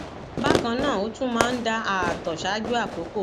bákan náà ó tún máa ń da ààtọ ṣáájú àkókò